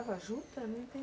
Juta, não entendi.